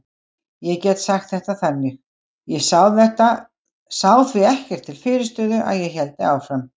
Ég get sagt þetta þannig: Ég sá því ekkert til fyrirstöðu að ég héldi áfram.